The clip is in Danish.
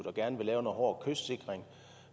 og gerne vil lave noget hård kystsikring